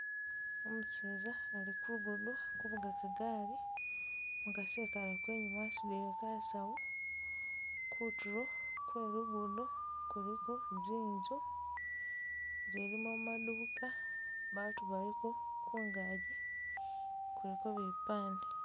Umuseza ali ku lugudo kuvuga kagali, umukasi ekale ko enyuma asudile kasawo, kutulo kwelugudo kuliko zinzu zilimo maduka batu baliko, kungaji kuliko bipande